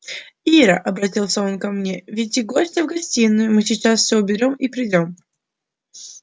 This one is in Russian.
ира обратился он ко мне веди гостя в гостиную мы сейчас всё уберём и придём